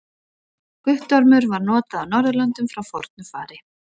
Guttormur var notað á Norðurlöndum frá fornu fari.